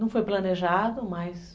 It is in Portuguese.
Não foi planejado, mas...